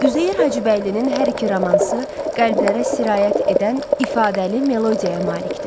Üzeyir Hacıbəylinin hər iki romansı qəlblərə sirayət edən ifadəli melodiyaya malikdir.